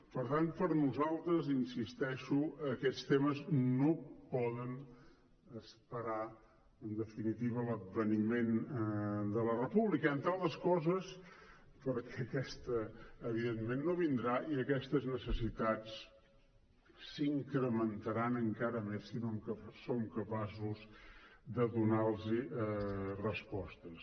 per tant per nosaltres hi insisteixo aquests temes no poden esperar en definitiva l’adveniment de la república entre altres coses perquè aquest evidentment no vindrà i aquestes necessitats s’incrementaran encara més si no som capaços de donar los respostes